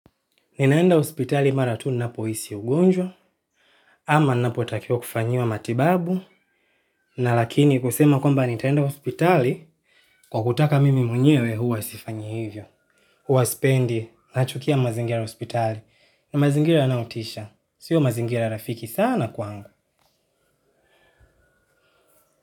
Ninaenda hospitali mara tu ninapo hisi ugonjwa, ama napo takiwa kufanyiwa matibabu, na lakini kusema kwamba nitaenda hospitali, kwa kutaka mimi mwenyewe huwa sifanyi hivyo. Huwa sipendi, nachukia mazingira ya hospitali, na mazingira anayotisha, sio mazingira rafiki sana kwangu.